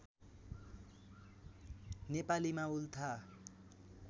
नेपालीमा उल्था